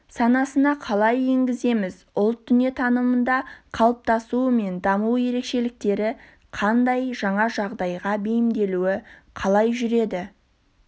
санасына қалай енгіземіз ұлт дүниетанымында қалыптасуы мен даму ерекшеліктері қандай жаңа жағдайға бейімделуі қалай жүреді